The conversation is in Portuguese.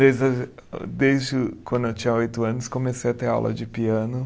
Desde a, desde quando eu tinha oito anos, comecei a ter aula de piano.